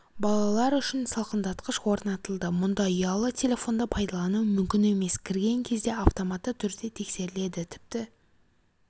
балалар үшін салқындатқыш орнатылды мұнда ұялы телефонды пайдалану мүмкін емес кірген кезде автоматты түрде тексеріледі тіпті